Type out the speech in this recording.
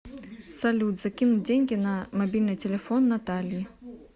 салют закинуть деньги на мобильный телефон наталье